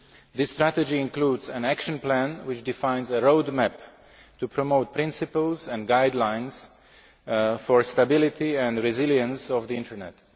This strategy includes an action plan which defines a road map to promote principles and guidelines for the stability and resilience of the Internet.